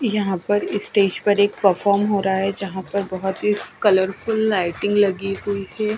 यहाँ पर स्टेज पर एक परफॉर्म हो रहा है जहाँ पर बहती कलरफुल लाइटिंग लगी हुई है।